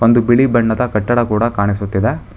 ಒಂದು ಬಿಳಿ ಬಣ್ಣದ ಕಟ್ಟಡ ಕೂಡ ಕಾಣಿಸುತ್ತಿದೆ.